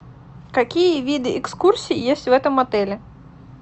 какие виды экскурсий есть в этом отеле